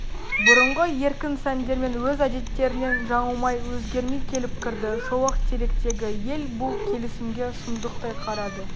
бұрынғы еркін сәндермен өз әдеттерінен жаңылмай өзгермей келіп кірді шолақтеректегі ел бұл келісімге сұмдықтай қарады